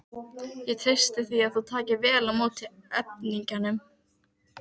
Ég treysti því að þú takir vel á móti erfingjanum.